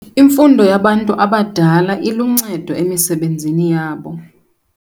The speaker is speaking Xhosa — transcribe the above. Imfundo yabantu abadala iluncedo emisebenzini yabo.